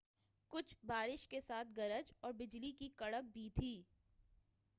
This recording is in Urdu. کچھ بارش کے ساتھ گرج اور بجلی کی کڑک بھی تھی